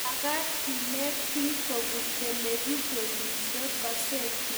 magaat keenet biik kobun televishionishek, kasetishek ago redionik